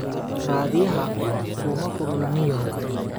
Raadiyaha kuma kulula nin yahow.